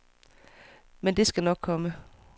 Men, det skal nok komme.